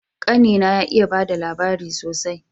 Kani na ya iya bada labari sosai